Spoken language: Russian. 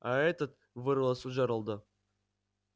а этот вырвалось у джералда